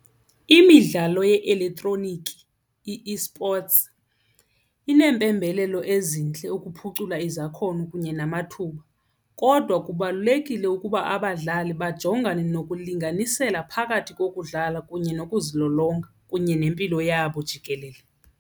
Imidlalo ye-elektroniki, i-esports, ineempembelelo ezintle ukuphucula izakhono kunye namathuba kodwa kubalulekile ukuba abadlali bajongane nokulinganisela phakathi kokuhlala kunye nokuzilolonga kunye nempilo yabo jikelele.